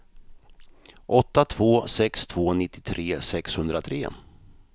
åtta två sex två nittiotre sexhundratre